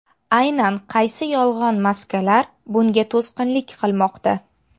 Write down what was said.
Aynan qaysi yolg‘on maslaklar bunga to‘sqinlik qilmoqda?